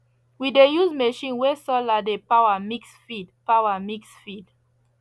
we dey use machine wey solar dey power mix feed power mix feed